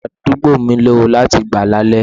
Àdúgbò mi léwu láti gbà là lè.